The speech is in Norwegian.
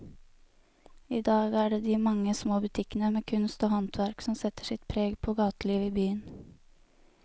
I dag er det de mange små butikkene med kunst og håndverk som setter sitt preg på gatelivet i byen.